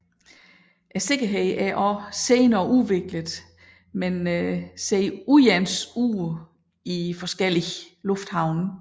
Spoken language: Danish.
Sikkerheden er også senere udviklet men ser uens ud i forskellige lufthavne